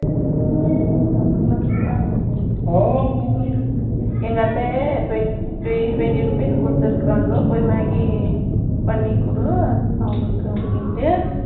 நான் அப்புறமா, கிருஷ்ணா அங்க போயிட்டு, ஓ, எங்க அத்தை, twenty rupees கொடுத்திருக்கிறாங்க. போய், maggi பண்ணி கொடு. அவங்களுக்கு அப்படின்ட்டு